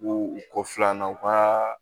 U ko filanan u ka